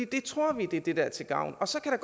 det tror vi er det der er til gavn så kan